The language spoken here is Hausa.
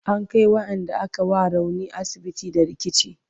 an Kai waƴanda aka wa rauni asibiti da rikici